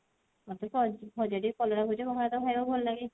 ମୋତେ କହିଛି ଭଜା ଟିକେ କଲରା ଭଜା ଭଲ ଲାଗେ